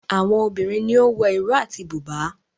Àwọn obìrin ní o wọ Iro àti buba.